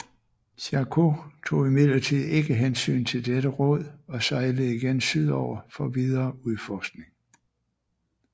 Charcot tog imidlertid ikke hensyn til dette råd og sejlede igen syd over for videre udforskning